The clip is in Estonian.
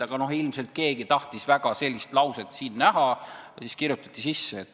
Aga ilmselt keegi tahtis väga sellist lauset siin näha ja siis kirjutati see sisse.